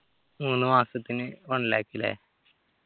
മൂന്നുമാസത്തിന് one lakh ല്ലേ